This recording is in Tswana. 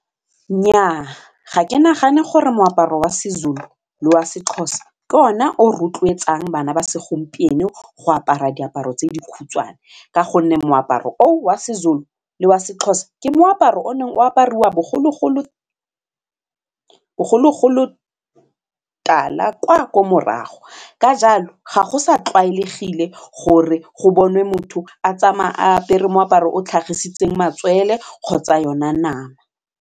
Nnyaa ga ke nagane gore moaparo wa seZulu le wa seXhosa ke ona o rotloetsang bana ba segompieno go apara diaparo tse dikhutshwane ka gonne moaparo o wa seZulu le wa seXhosa ke moaparo o ne o apariwa bogologolo tala kwa ko morago ka jalo ga go sa tlwaelegile gore go boniwe motho a tsamaya apere moaparo o tlhagisitsweng matswele kgotsa yona nama.